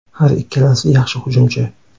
Har ikkalasi yaxshi hujumchi.